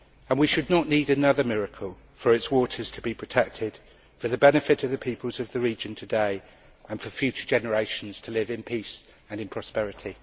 We should not need another miracle for its waters to be protected for the benefit of the peoples of the region today, and for future generations there to live in peace and prosperity.